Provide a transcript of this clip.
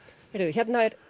hérna er